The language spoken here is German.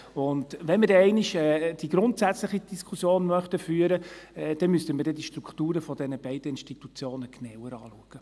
Und wenn wir dann einmal die grundsätzliche Diskussion führen möchten, dann müssten wir die Strukturen dieser beiden Institutionen genauer anschauen.